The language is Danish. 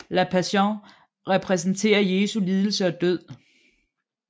La Pasión repræsenterer Jesu lidelse og død